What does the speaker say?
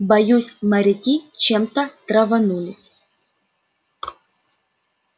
боюсь моряки чем-то траванулись